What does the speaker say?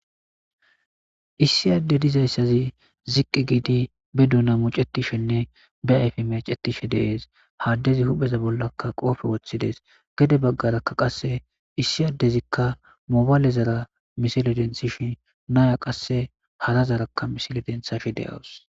issiyadde dizayssazi ziqqi giidi be duuna mucetishenne be ayfe meacetishe deees haaddezi hupheza bollakka qoofe woththides gede baggaraka qasse issiyaddezikka mobaalezara misile denthishi naya qasse halazarakka misile denthashe de7awus